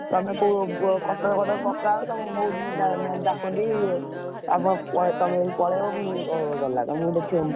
ତମେ କୋଉ ପକାଅ ତମକୁ ବହୁତ୍ ଡାକନ୍ତି, ତମେ ଯଦି ପୁଣି ପଳେଇବ ଗଲା